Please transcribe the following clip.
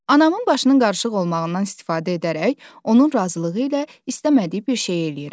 Anamın başının qarışıq olmağından istifadə edərək, onun razılığı ilə istəmədiyi bir şey eləyirəm.